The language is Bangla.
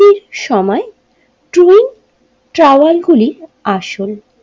সময় টুল ট্রাওয়াল গুলি আসল।